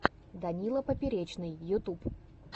данила поперечный ютюб